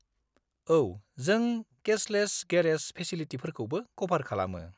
औ, जों cashless garage फेसिलिटिफोरखौबो क'भार खालामो।